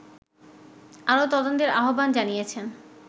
আরো তদন্তের আহবান জানিয়েছেন